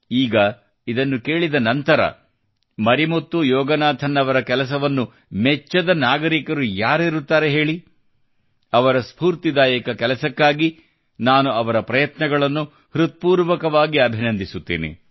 ಈಗ ಇದನ್ನು ಕೇಳಿದ ನಂತರ ಮರಿಮುತ್ತು ಯೋಗನಾಥನ್ ಅವರ ಕೆಲಸವನ್ನು ಮೆಚ್ಚದ ನಾಗರಿಕ ಯಾರಿರುತ್ತಾರೆ ಹೇಳಿಅವರ ಸ್ಪೂರ್ತಿದಾಯಕ ಕಾರ್ಯಕ್ಕಾಗಿ ನಾನು ಅವರ ಪ್ರಯತ್ನಗಳನ್ನು ಹೃತ್ಪೂರ್ವಕವಾಗಿ ಅಭಿನಂದಿಸುತ್ತೇನೆ